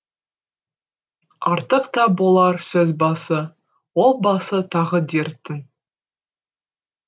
артық та болар сөз басы ол басы тағы дерттің